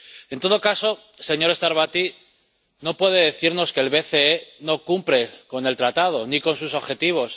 En todo caso, señor Starbatty, no puede decirnos que el BCE no cumple con el Tratado ni con sus objetivos.